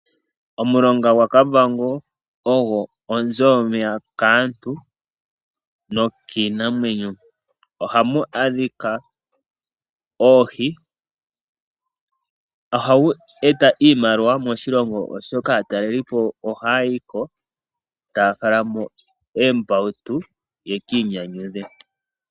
Omulonga gwaKavango ogo onzo yomeya kaantu nokiinamwenyo. Ohamu adhika oohi go ohagu eta iimaliwa moshilongo oshoka aatalelipo ohaya yiko taya falamo uumbautu opo yekiinyanyudhe.